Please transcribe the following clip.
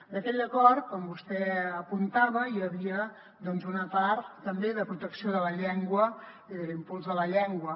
d’aquell acord com vostè apuntava hi havia una part també de protecció de la llengua i de l’impuls de la llengua